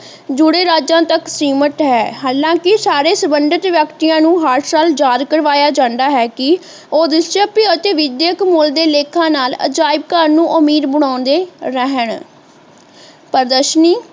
ਜੁੜੇ ਰਾਜਿਆਂ ਤਕ ਸੀਮਿਤ ਹੈ ਹਾਲਾਂਕਿ ਸਾਰੇ ਸੰਬੰਧਿਤ ਵਿਅਕਤੀਆਂ ਨੂੰ ਹਰ ਸਾਲ ਯਾਦ ਕਰਵਾਇਆ ਜਾਂਦਾਂ ਹੈ ਕਿ ਉਹ ਵਿਸ਼ਵ ਅਤੇ ਵਿਦਿਅਕ ਮੂਲ ਦੇ ਲੇਖਾਂ ਨਾਲ ਅਜਾਇਬ ਘਰ ਨੂੰ ਊਮੀਦ ਬਣਾਉਂਦੇ ਰਹਿਣ ਪ੍ਰਦਰਸ਼ਨੀ